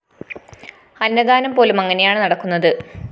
അന്നദാനം പോലും അങ്ങനെയാണ് നടക്കുന്നത്